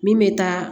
Min bɛ taa